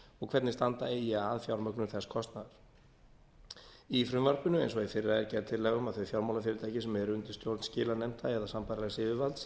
og hvernig standa eigi að fjármögnun þess kostnaðar í frumvarpinu eins og í fyrra er gerð tillaga um að þau fjármálafyrirtæki sem eru undir stjórn skilanefnda eða sambærilegs yfirvalds